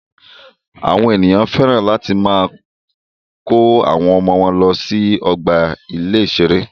Àwọn ènìyàn féràn láti máa kọ́ àwọn ọmọ wọ́n lọ sí ọgbà ìṣẹ̀rẹ́.